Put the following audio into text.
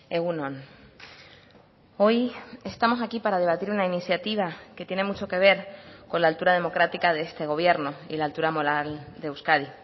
egun on hoy estamos aquí para debatir una iniciativa que tiene mucho que ver con la altura democrática de este gobierno y la altura moral de euskadi